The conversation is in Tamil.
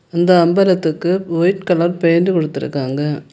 இந்த அம்பரத்துக்கு ஒயிட் கலர் பெயிண்ட் குடுத்திருகாங்க.